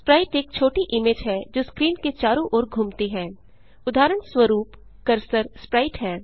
Sprite एक छोटी image है जो स्क्रीन के चारों ओर घूमती है उदाहरणस्वरूप कर्सर स्प्राइट है